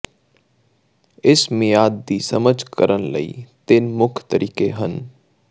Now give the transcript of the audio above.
ਇਸ ਮਿਆਦ ਦੀ ਸਮਝ ਕਰਨ ਲਈ ਤਿੰਨ ਮੁੱਖ ਤਰੀਕੇ ਹਨ